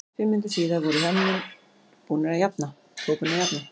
Fimm mínútum síðar voru heimamenn þó búnir að jafna.